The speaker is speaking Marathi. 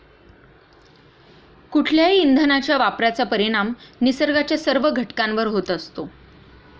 कुठल्याही इंधनाच्या वापराचा परिणाम निसर्गाच्या सर्व घटकांवर होत असतो.